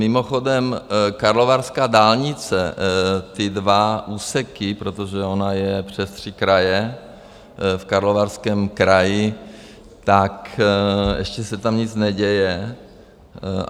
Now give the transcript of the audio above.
Mimochodem, karlovarská dálnice, ty dva úseky, protože ona je přes tři kraje v Karlovarském kraji, tak ještě se tam nic neděje.